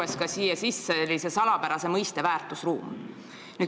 Sisse on toodud selline salapärane mõiste nagu "väärtusruum".